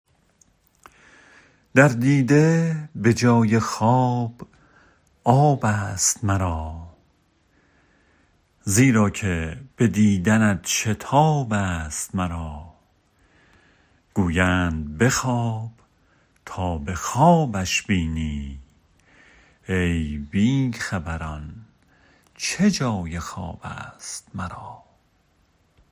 در دیده به جای خواب آب است مرا زیرا که به دیدنت شتاب است مرا گویند بخواب تا به خوابش بینی ای بی خبران چه جای خواب است مرا